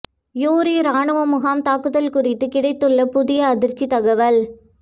யூரி ராணுவ முகாம் தாக்குதல் குறித்து கிடைத்துள்ள புதிய அதிர்ச்சி தகவல்